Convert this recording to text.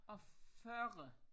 Og 40